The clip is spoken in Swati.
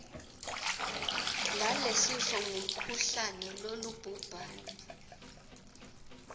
lalesifo ngumkhuhlane longubhubhane